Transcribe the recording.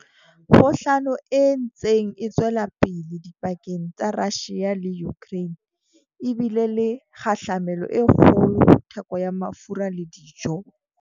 Kgohlano e ntseng e tswela pele dipakeng tsa Russia le Ukraine e bile le kgahlamelo e kgolo ho theko ya mafura le dijo.